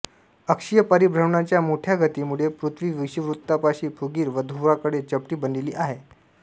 अक्षीय परिभ्रमणाच्या मोठ्या गतीमुळे पृथ्वी विषुवृत्तापाशी फुगीर व ध्रुवांकडे चपटी बनलेली आहे